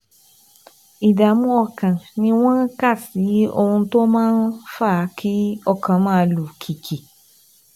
Ìdààmú ọkàn ni wọ́n kà sí ohun tó máa ń fa kí ọkàn máa lù kìkì